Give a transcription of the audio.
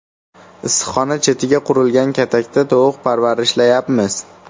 Issiqxona chetiga qurilgan katakda tovuq parvarishlayapmiz.